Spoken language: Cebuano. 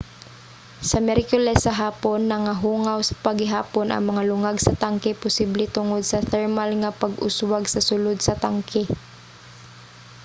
sa miyerkules sa hapon nagahungaw pa gihapon ang mga lungag sa tangke posible tungod sa thermal nga pag-uswag sa sulod sa tangke